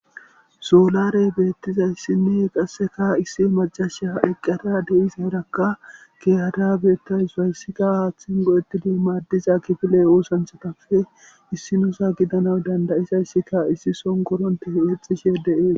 Soolaaree beeththizayssinne qasseka issi maccasiya eqqada de7izaarakka keehada beeththawus; hayssika aaththin go7eththidi maaddiza kifile oosanchchathappe issinuza gidanawu danda7izayssikka issi son koronthe eexxishe de7ees.